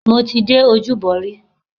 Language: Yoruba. Mo ti dé Ojúbọ rí.